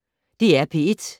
DR P1